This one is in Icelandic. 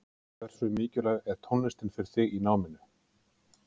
Hversu mikilvæg er tónlistin fyrir þig í náminu?